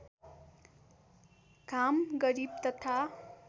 घाम गरिब तथा